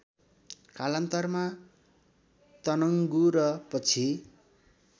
कालान्तरमा तनङ्गु र पछि